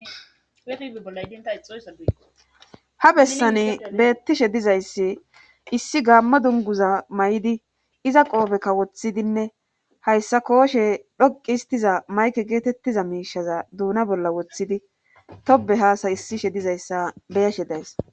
Ha bessani beettishe dizayssi issi gaammo dunguza may7idi iza qoobe kawoththidinne hayssa kooshe dhoqi histiza mayke geetettiza miishaza duuna bolla woththidi tobe haasa issishe dizayssa beyashe days